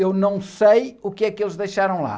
Eu não sei o que é que eles deixaram lá.